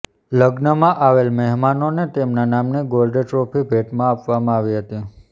લગ્નમાં આવેલા મહેમાનોને તેમના નામની ગોલ્ડ ટ્રોફી ભેટમાં આપવામાં આવી હતી